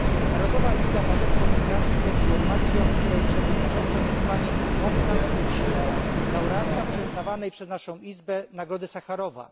Narodowa Liga na rzecz Demokracji jest formacją, której przewodniczącą jest pani Aung San Suu Kyi, laureatka przyznawanej przez naszą Izbę nagrody Sacharowa.